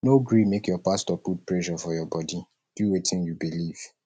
no gree make your pastor put pressure for your bodi do wetin you believe